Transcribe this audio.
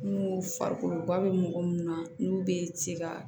N'u farikolo ba bɛ mɔgɔ mun na n'u bɛ se ka